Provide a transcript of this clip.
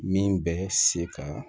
Min bɛ se ka